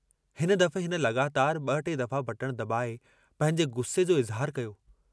हिन दफ़े हिन लगातार ब टे दफ़ा बटण दबाए पंहिंजे गुस्से जो इज़हारु कयो।